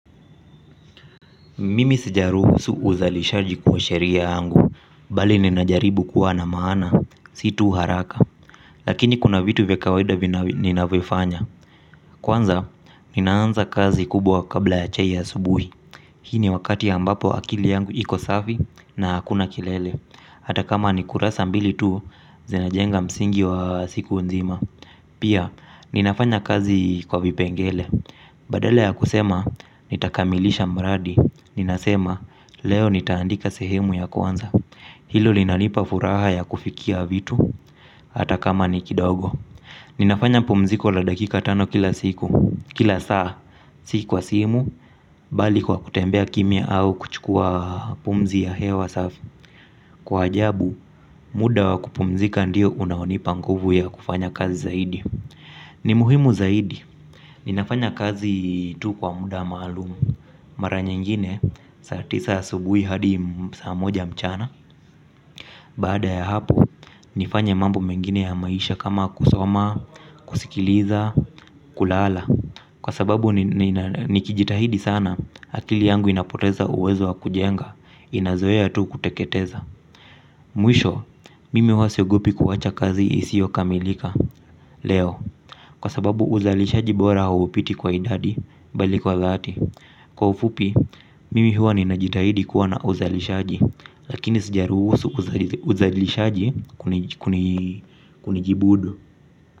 Mimi sijaruhusu uzalishaji kuwa sheria yangu, bali ninajaribu kuwa na maana, si tu haraka. Lakini kuna vitu vya kawaida ninavifanya. Kwanza, ninaanza kazi kubwa kabla ya chai ya asubuhi. Hii ni wakati ambapo akili yangu iko safi na hakuna kelele, hata kama ni kurasa mbili tu, zinajenga msingi wa siku nzima. Pia, ninafanya kazi kwa vipengele. Badala ya kusema, "Nitakamilisha mradi," ninasema, "Leo nitaandika sehemu ya kwanza." Hilo linalipa furaha ya kufikia vitu. Hata kama ni kidogo. Ninafanya pumziko la dakika tano kila saa, si kwa simu. Bali kwa kutembea kimya au kuchukua pumzi ya hewa safi. Kwa ajabu, muda wa kupumzika ndio unaonipa nguvu ya kufanya kazi zaidi. Ni muhimu zaidi, ninafanya kazi tu kwa muda maalumu. Mara nyingine, saa tisa asubuhi hadi saa moja mchana. Baada ya hapo, nifanya mambo mengine ya maisha kama kusoma, kusikiliza, kulala, kwa sababu nikijitahidi sana, akili yangu inapoteza uwezo wa kujenga, inazoea tu kuteketeza. Mwisho, mimi huwa siogopi kuacha kazi isiyokamilika leo, kwa sababu uzalishaji bora haupiti kwa idadi bali kwa dhati. Kwa ufupi, mimi huwa ninajitahidi kuwa na uzalishaji. Lakini sijaruhusu uzalishaji kunijibudu.